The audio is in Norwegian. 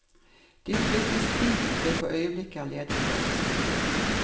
De flyttes dit det for øyeblikket er ledig plass.